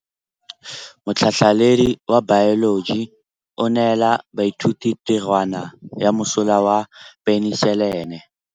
Motlhatlhaledi wa baeloji o neela baithuti tirwana ya mosola wa peniselene.